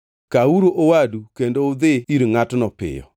Kawuru owadu kendo udhi ir ngʼatno piyo.